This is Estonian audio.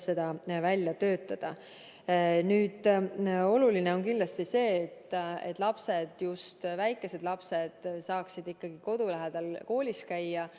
Oluline on kindlasti see, et lapsed, just väikesed lapsed saaksid kodu lähedal koolis käia.